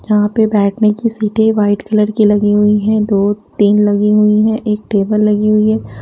यहाँ पे बैठने की सीटें वाइट कलर की लगी हुई है दो तीन लगी हुई हैं एक टेबल लगी हुई है।